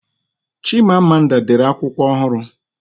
Chima Amanda dere akwụkwọ ohuru